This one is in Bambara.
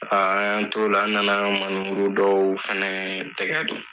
A an y'an to o la , an nana ka minɛburu dɔw fana tɛgɛ don.